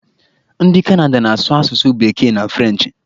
Ndị Kanada na-asụ asụsụ bekee na frenchị.